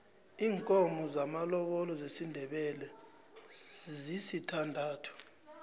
iinkomo zamalobolo zesindebele zisithandathu